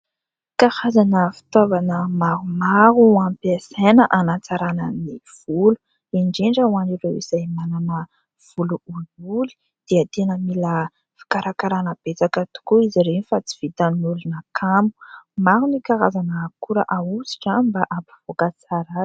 Karazana fitaovana maromaro ampiasaina hanatsarana ny volo indrindra ho an'ireo izay manana volo olioly dia tena mila fikarakarana betsaka tokoa izy ireny fa tsy vitan'ny olona kamo. Maro ny karazana akora ahosotra mba hampivoaka tsara azy.